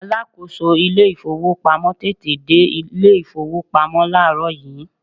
alákóso ilé ifowópamọ́ tètè dé ilé ifowópamọ́ laarọ yi